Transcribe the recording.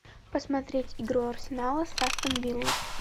посмотреть игру арсенала с астон виллой